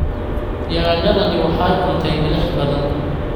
Yaanyadani waxay cuntay milix badan